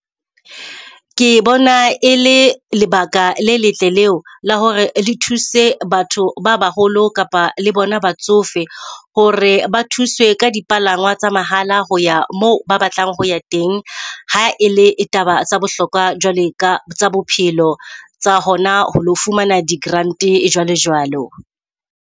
Ke bona e le lebaka le letle leo la hore le thuse batho ba baholo kapa le bona batsofe hore ba thuswe ka dipalangwang tsa mahala ho ya moo ba batlang ho ya teng. Ha ele taba tsa bohlokwa jwale ka tsa bophelo tsa hona ho lo fumana di grant-e jwalo jwalo.